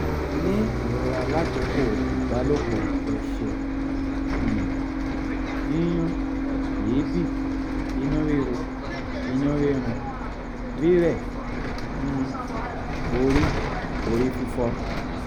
ni irora lakoko ibalopọ ẹsẹ um yiyún eebi inu riro inu rirun rirẹ um ori ori fifo